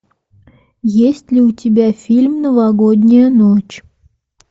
есть ли у тебя фильм новогодняя ночь